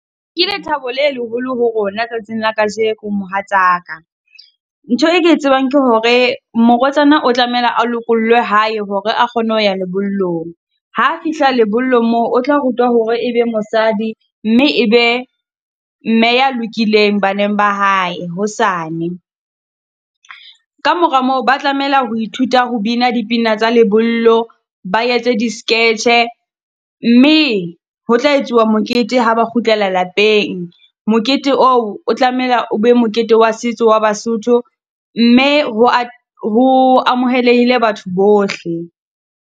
Ke lethabo le leholo ho rona tsatsing la kajeno mohatsa ka. Ntho e ke tsebang ke hore morwetsana o tlameha a lokollwe hae hore a kgone ho ya lebollong. Ha a fihla lebollo moo, o tla rutwa hore ebe mosadi mme ebe mme ya lokileng baneng ba hae hosane. Kamora moo ba tlamela ho ithuta ho bina dipina tsa lebollo, ba etse di-sketch-e, mme e ho tla etsuwa mokete ha ba kgutlela lapeng. Mokete oo o tlamela o be mokete wa setso wa Basotho, mme ho ho amoheleile batho bohle,